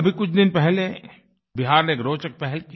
अभी कुछ दिन पहले बिहार ने एक रोचक पहल की